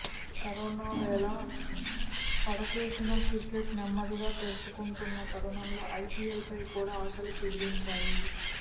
corona వేళా పడకేసిన cricket నెమ్మదిగా తెరుచుకుంటున్న తరుణంలో ఐపీఎల్ పై కూడా ఆశలు చిగురించాయి